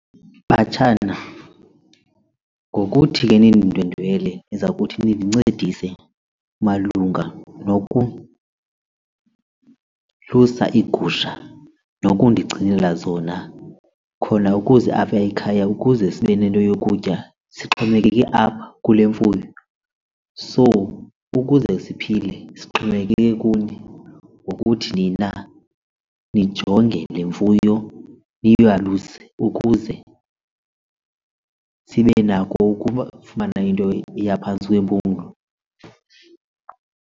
Batshana, ngokuthi ke nindindwendwele niza kuthi nindincedise malunga nokulusa iigusha nokundigcinela zona khona ukuze apha ekhaya ukuze sibe nento yokutya sixhomekeke apha kule mfuyo. So ukuze siphile sixhomekeke kuni ngokuthi nina nijonge le mfuyo niyaluse ukuze sibe nako ukufumana into eya phantsi kwempumlo.